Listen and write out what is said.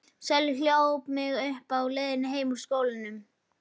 Sölvi hljóp mig uppi á leiðinni heim úr skólanum.